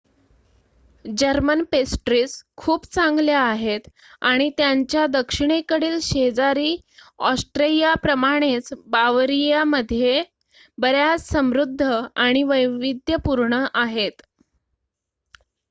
German pastries खूप चांगल्या आहेत आणि त्यांच्या दक्षिणेकडील शेजारी ऑस्ट्रियाप्रमाणेच बावरियामध्ये बर्‍याच समृध्द आणि वैविध्यपूर्ण आहेत